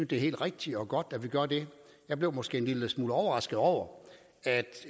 det er helt rigtigt og godt at vi gør det jeg blev måske en lille smule overrasket over at